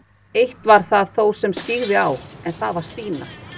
Eitt var það þó sem skyggði á, en það var Stína.